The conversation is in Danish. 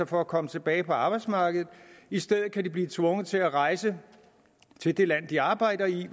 for at komme tilbage på arbejdsmarkedet i stedet kan de blive tvunget til at rejse til det land de arbejder i